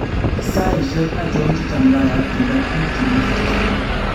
Saishek achon chechamdaiyat kigaat piik chemii sipitali?